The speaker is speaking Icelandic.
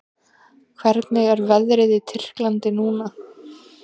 Hvernig er veðrið í Tyrklandi núna?